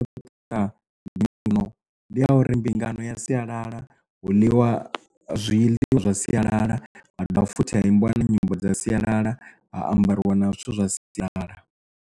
Vhutuka mbingano ndi ya uri mbingano ya sialala hu ḽiwa zwiḽiwa zwa sialala ha dovha futhi ha imbiwa na nyimbo dza sialala ha ambariwa na zwithu zwa sialala.